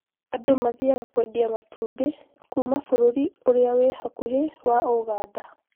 andũ mathiaga kũendia matumbĩ kuuma bũrũri ũrĩa ũrĩ hakuhĩ wa Uganda